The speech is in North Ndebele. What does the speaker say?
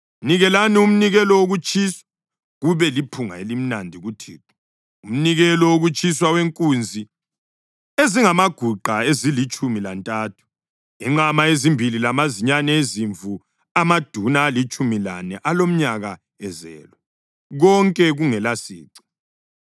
Nikelani umnikelo wokutshiswa, kube liphunga elimnandi kuThixo, umnikelo wokutshiswa wenkunzi ezingamaguqa ezilitshumi lantathu, inqama ezimbili lamazinyane ezimvu amaduna alitshumi lane alomnyaka ezelwe, konke kungelasici.